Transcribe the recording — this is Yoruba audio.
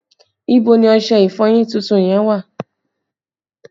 Ibo ni ọṣẹ ìfọyín tuntun yẹn wà?